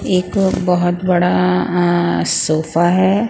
एक बहुत बड़ा अ सोफा है.